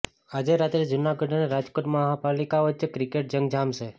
આજે રાત્રે જુનાગઢ અને રાજકોટ મહાપાલિકા વચ્ચે ક્રિકેટ જંગ જામશે